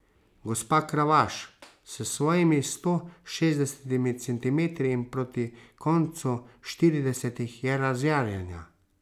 Gospa Kravaš, s svojimi sto šestdesetimi centimetri in proti koncu štiridesetih, je razjarjena.